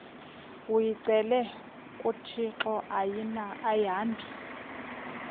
uyicele kuthixo ayihambi